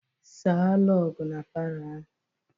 Saa rọgụ na palọ ahụ!